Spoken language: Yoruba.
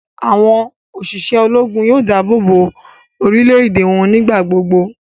Awọn oṣiṣẹ Ológùn yóò dáàbòbo orílè-èdè wọn nigbagbogbo